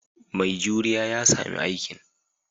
Mai juriya ya sami aikin.